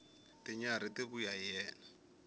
tinyarhi ti vuya hi yena